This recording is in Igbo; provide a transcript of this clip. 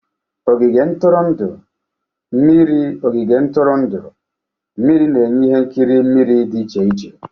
Ogige ntụrụndụ mmiriOgige ntụrụndụ mmiri na-enye ihe nkiri mmiri dị iche iche.